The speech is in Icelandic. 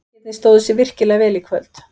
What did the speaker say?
Drengirnir stóðu sig virkilega vel í kvöld.